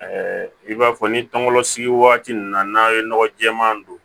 i b'a fɔ ni tɔŋɔnɔn sigi waati ninnu na n'a ye nɔgɔ jɛɛma don